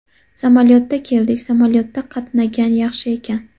Samolyotda keldik samolyotda qatnagan yaxshi ekan.